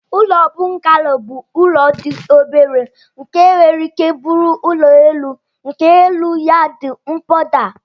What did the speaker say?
Ụlọ bungalo bu ụlọ di obere nke nwere ike buru ụlọ elu nke elu ya di mkpoda.